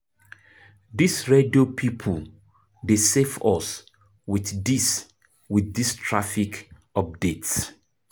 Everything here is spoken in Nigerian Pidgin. Dis radio pipo dey save us wit dis wit dis traffic updates.